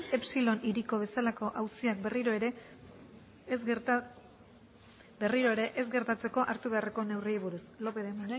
epsilon hiriko bezalako auziak berriro ere ez gertatzeko hartu beharreko neurriei buruz lopez de munain